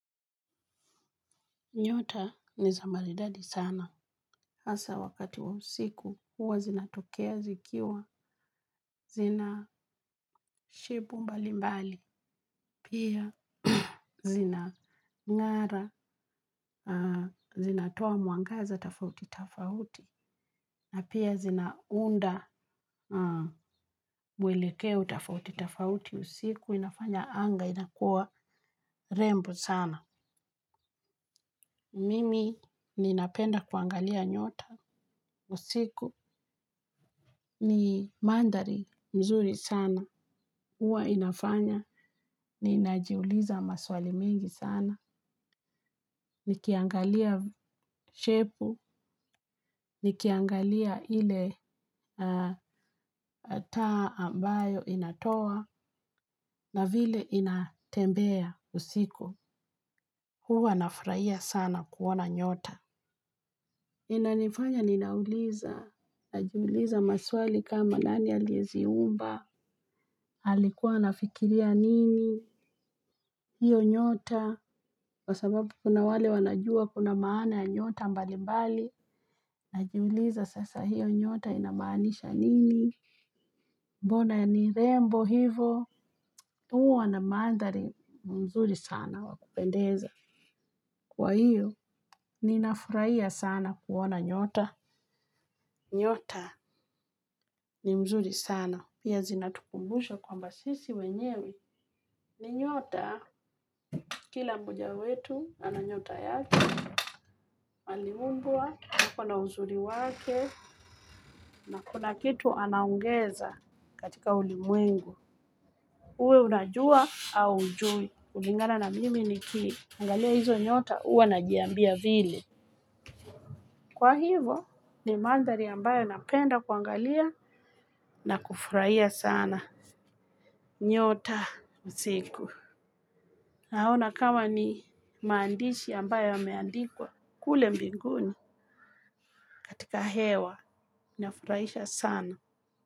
Nyota ni za maridadi sana, hasa wakati wa usiku, huwa zinatokea zikiwa, zina shebu mbali mbali, pia zina ng'ara, zinatoa muangaza tafauti tafauti, na pia zinaunda mwelekeo tafauti tafauti usiku, inafanya anga, inakua rembo sana. Mimi ninapenda kuangalia nyota, usiku, ni mandari mzuri sana, huwa inafanya, ninajiuliza maswali mingi sana, nikiangalia shepu, nikiangalia ile taa ambayo inatoa, na vile inatembea usiku, huwa nafraia sana kuona nyota. Nina nifanya ninauliza, najiuliza maswali kama nani alieziumba, alikuwa anafikiria nini, hiyo nyota, kwa sababu kuna wale wanajua kuna maana nyota mbali mbali, najiuliza sasa hiyo nyota inamanisha nini, mbona ni rembo hivo, uwa na mandari mzuri sana wakupendeza. Kwa hiyo, ninafuraia sana kuwona nyota. Nyota ni mzuri sana. Pia zinatukumbusha kwamba sisi wenyewe. Ni nyota, kila mmoja wetu, ananyota yake. Aliumbwa halafu ana uzuri wake, na kuna kitu anaongeza katika ulimwengu. Uwe unajua au hujui. Kulingana na mimi nikiangalia hizo nyota, huwa najiambia vile. Kwa hivyo ni mandhari ambayo napenda kuangalia na kufurahia sana. Nyota usiku. Naona kama ni maandishi ambayo yameandikwa kule mbinguni. Katika hewa, inafurahisha sana.